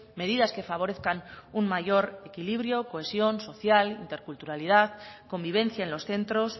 medidas que favorezcan un mayor equilibrio cohesión social interculturalidad convivencia en los centros